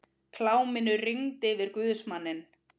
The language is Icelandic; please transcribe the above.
Kláminu rigndi yfir guðsmanninn.